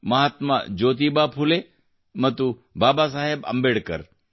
ಮಹಾತ್ಮ ಜ್ಯೋತಿಬಾ ಫುಲೆ ಮತ್ತು ಬಾಬಾಸಾಹೇಬ್ ಅಂಬೇಡ್ಕರ್